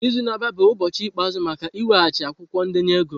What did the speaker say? Izu na-abịa bụ ụbọchị ikpeazụ maka ị weghachi akwụkwọ ndenye ego m!